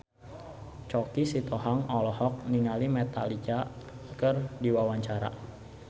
Choky Sitohang olohok ningali Metallica keur diwawancara